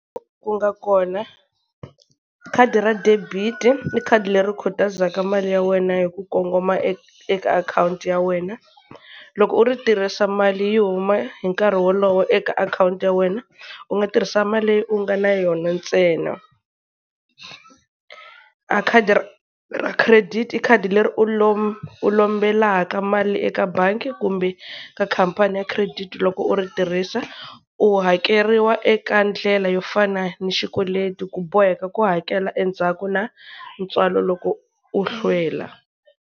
Ku nga kona, khadi ra debit-i i khadi leri khutazaka mali ya wena hi ku kongoma eka eka akhawunti ya wena. Loko u ri tirhisa mali yi huma hi nkarhi wolowo, eka akhawunti ya wena. U nga tirhisa mali leyi u nga na yona ntsena. A khadi ra ra credit i khadi leri u u lombelaka mali eka bangi kumbe ka khampani ya credit-i loko u ri tirhisa, u hakeriwa eka ndlela yo fana ni xikweleti ku boheka ku hakela endzhaku na ntswalo loko u hlwela.